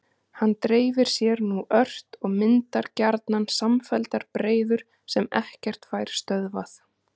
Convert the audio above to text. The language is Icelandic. Hann dreifir sér nú ört og myndar gjarnan samfelldar breiður sem ekkert fær stöðvað.